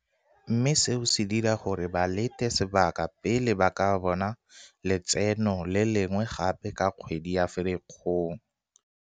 mme seo se dira gore ba lete sebaka pele ba ka bona letseno le lengwe gape ka kgwedi ya Firikgong.